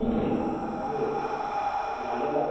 हम्म झालेलं आहे.